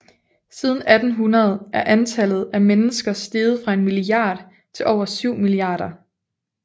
Siden 1800 er antallet af mennesker steget fra en milliard til over syv milliarder